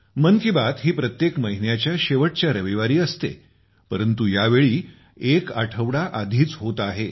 मन की बात ही प्रत्येक महिन्याच्या शेवटच्या रविवारी असते परंतु यावेळी एक आठवडा आधीच होत आहे